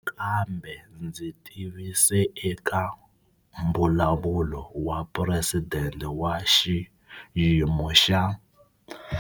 Nakambe ndzi tivise eka Mbulavulo wa Phuresidente wa Xiyi mo xa.